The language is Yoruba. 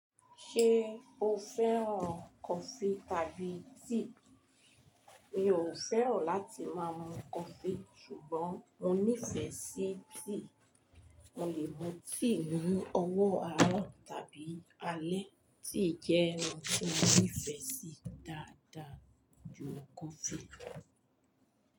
Ṣé o fẹ́ràn kọfí tàbí tíì? Mi ò fẹ́ràn láti máa mu kọfí ṣùgbọ́n mo nífẹ̀ẹ́ sí tíì. Mo lè mu tíì ni ọwọ́ àárọ̀ tàbí alẹ́. Tíì jẹ́ ohun tí mo nífẹ̀ẹ́ sí dáadáa ju kọfí lọ.